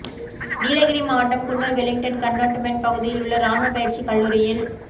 நீலகிரி மாவட்டம் Coonoor Wellington cantonment பகுதியில் உள்ள ராணுவ பயிற்சி கல்லூரியில்